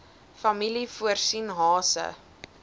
familie voorsien hase